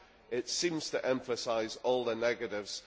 It seems to emphasise all the negatives.